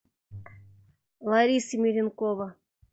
лариса меренкова